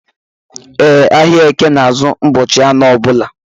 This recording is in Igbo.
E, ahịa eke na azụ ụbọchị anọ ọbula